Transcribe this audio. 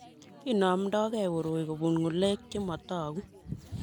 Kinomtokei koroi kobun ngulek che motoku